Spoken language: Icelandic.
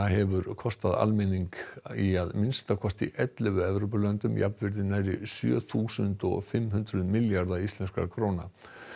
hefur kostað almenning í að minnsta kosti ellefu Evrópulöndum jafnvirði nærri sjö þúsund og og fimm hundruð milljarða íslenskra króna